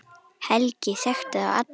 Helgi þekkti þá alla.